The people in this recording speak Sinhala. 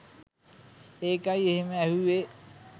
එකයි එහෙම ඇහුවේ.